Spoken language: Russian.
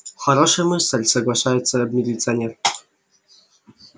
хорошая мысль соглашается милиционер